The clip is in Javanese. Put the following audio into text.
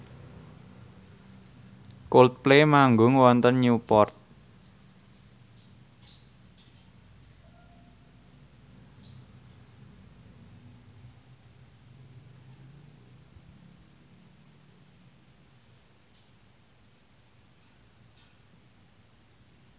Coldplay manggung wonten Newport